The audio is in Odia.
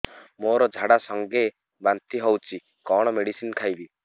ମୋର ଝାଡା ସଂଗେ ବାନ୍ତି ହଉଚି କଣ ମେଡିସିନ ଖାଇବି